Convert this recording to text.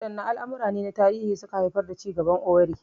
Waɗanne al'amura ne na tarihi suka haifar da cigaban Owerri?